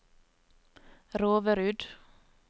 Roverud